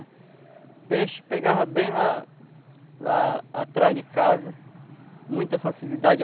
O peixe pegava bem lá lá atrás de casa, muita facilidade.